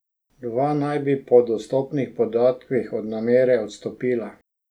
Dva naj bi po dostopnih podatkih od namere odstopila.